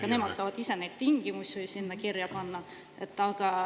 … aga nemad saavad ise neid tingimusi sinna kirja panna.